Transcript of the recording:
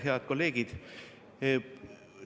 Head kolleegid!